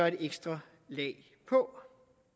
ekstra lag på